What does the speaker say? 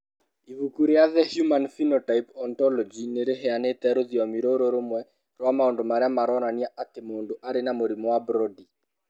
Ibuku rĩa The Human Phenotype Ontology nĩ rĩheanĩte rũthiomi rũrũ rũmwe rwa maũndũ marĩa maronania atĩ mũndũ arĩ na mũrimũ wa Brody.